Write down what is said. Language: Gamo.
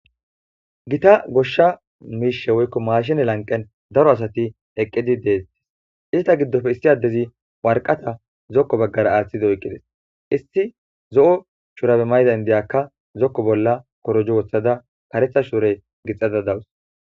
Gita gosha mishe woyko mashinne lanqen daro asati eqidi detes.izeta gidofe issi adezi warqat zoko bagara aththidi oyqides.issi zo7o shurabe mayida indiyaka zoko bola korojo wothada karetha sure gixada dawus.